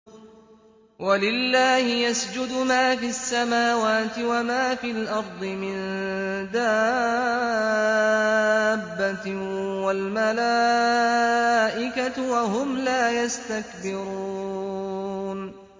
وَلِلَّهِ يَسْجُدُ مَا فِي السَّمَاوَاتِ وَمَا فِي الْأَرْضِ مِن دَابَّةٍ وَالْمَلَائِكَةُ وَهُمْ لَا يَسْتَكْبِرُونَ